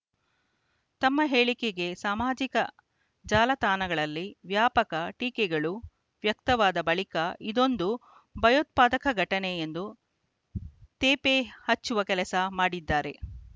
ತಮ್ಮ ಹೇಳಿಕೆಗೆ ಸಾಮಾಜಿಕ ಜಾಲತಾಣಗಳಲ್ಲಿ ವ್ಯಾಪಕ ಟೀಕೆಗಳು ವ್ಯಕ್ತವಾದ ಬಳಿಕ ಇದೊಂದು ಭಯೋತ್ಪಾದಕ ಘಟನೆ ಎಂದು ತೇಪೆ ಹಚ್ಚುವ ಕೆಲಸ ಮಾಡಿದ್ದಾರೆ